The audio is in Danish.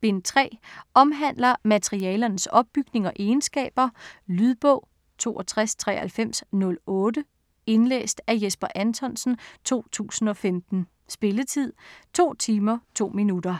Bind 3. Omhandler malermaterialernes opbygning og egenskaber. Lydbog 629308 Indlæst af Jesper Anthonsen, 2015. Spilletid: 2 timer, 2 minutter.